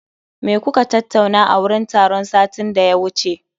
Me kuka tattauna a wurin taron satin da ya wuce?